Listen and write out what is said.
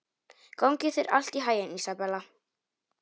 Gangi þér allt í haginn, Ísabella.